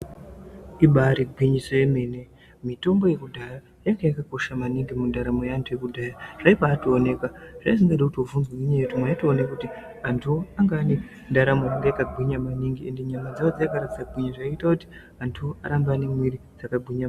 Ibaari gwinyiso yemene, mitombo yekudhaya yanga yakakosha maningi mundaramo yeantu ekudhaya. Zvaibaatooneka. Zvazvisingatodi kuti ubvunzwe ngenyaya yekuti mwaitoone kuti antuwo anga ane ndaramo yanga yakagwinya maningi, ende nyama dzawo dzaigara dzakagwinya zvaita kuti ,antu arambe ane mwiri dzakagwinya .